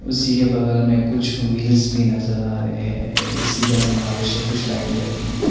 उसी के बगल में कुछ व्हील भी नज़र आ रहे है इसी का समावेश है कुछ लाइटे लगी हैं।